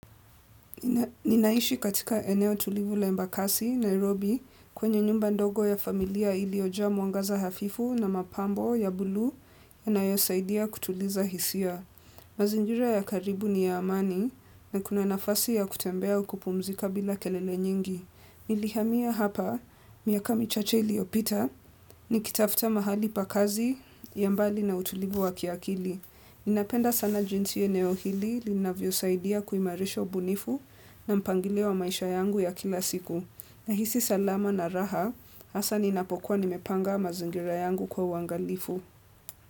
Ninaishi katika eneo tulivu la embakasi, Nairobi kwenye nyumba ndogo ya familia iliyoja mwangaza hafifu na mapambo ya bulu ya na yosaidia kutuliza hisia. Mazingira ya karibu ni ya amani na kuna nafasi ya kutembea au kumpumzika bila kelele nyingi. Nilihamia hapa miaka michache iliyopita ni kitafuta mahali pakazi ya mbali na utulivu wa kiakili. Ninapenda sana jinsi eneo hili linavyo saidia kuhimarisha ubunifu na mpangilio wa maisha yangu ya kila siku. Nahisi salama na raha, hasa ninapokuwa nimepanga mazingira yangu kwa uangalifu.